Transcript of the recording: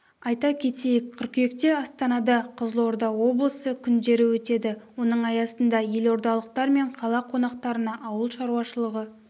айта кетейік қыркүйекте астанада қызылорда облысы күндері өтеді оның аясында елордалықтар мен қала қонақтарына ауыл шаруашылығы